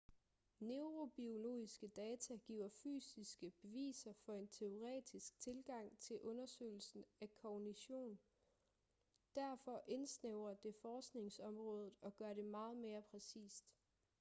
neurobiologiske data giver fysiske beviser for en teoretisk tilgang til undersøgelsen af kognition derfor indsnævrer det forskningsområdet og gør det meget mere præcist